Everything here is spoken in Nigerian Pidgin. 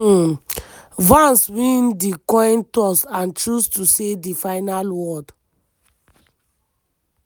um vance win di coin toss and chose to say di final word.